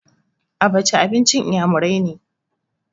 Abaca abincin iyamurai ne.